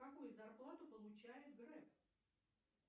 какую зарплату получает греф